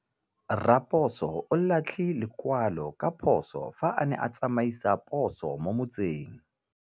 Raposo o latlhie lekwalô ka phosô fa a ne a tsamaisa poso mo motseng.